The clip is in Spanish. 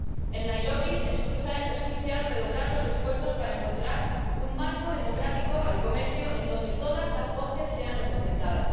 En Nairobi es crucial redoblar los esfuerzos para encontrar un marco democrático para el comercio donde todas las voces estén representadas